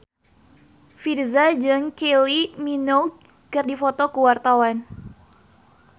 Virzha jeung Kylie Minogue keur dipoto ku wartawan